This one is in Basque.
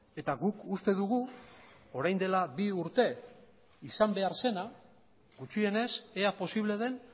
eta guk uste dugu orain dela bi urte izan behar zena gutxienez ea posible den